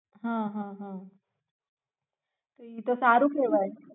હમ તો ઈ તો સારું કેવાય